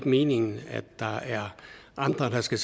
meningen at der er andre der skal